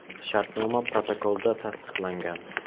Shartnoma protokolda tasdiqlangan.